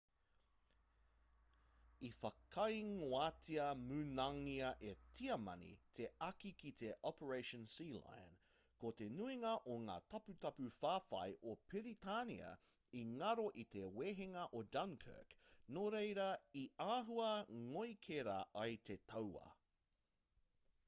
i whakaingoatia munangia e tiamani te āki ki te operation sealion ko te nuinga o ngā taputapu whawhai o piritania i ngaro i te wehenga o dunkirk nō reira i āhua ngoikera ai te tauā